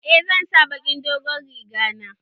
Eh zan sa baƙin dogon riga na